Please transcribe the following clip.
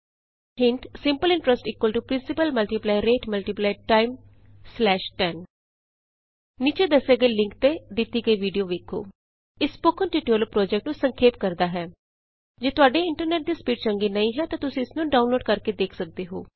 ਹਿੰਟ160 simple interest principal rate time 100 ਨੀਚੇ ਦੱਸੇ ਗਏ ਲਿੰਕ ਤੇ ਦਿਤੀ ਗਈ ਵੀਡੀਊ ਵੇਖੋ httpspoken tutorialorg What is a Spoken Tutorial ਇਹ ਸਪੋਕਨ ਟਿਯੂਟੋਰਿਅਲ ਪੋ੍ਜੈਕਟ ਨੂੰ ਸੰਖੇਪ ਕਰਦਾ ਹੈ ਜੇ ਤੁਹਾਡੇ ਇੰਟਰਨੈਟ ਦੀ ਸਪੀਡ ਚੰਗੀ ਨਹੀਂ ਹੈ ਤਾਂ ਤੁਸੀਂ ਇਸ ਨੂੰ ਡਾਊਨਲੋਡ ਕਰਕੇ ਦੇਖ ਸਕਦੇ ਹੋ